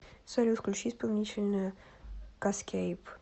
салют включи исполнителя каскейп